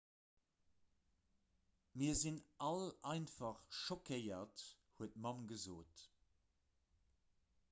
mir sinn all einfach schockéiert huet d'mamm gesot